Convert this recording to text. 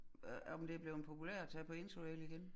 Øh om det bleven populært at tage på interrail igen?